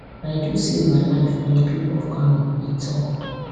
i do save my life and di pipo of kano e tok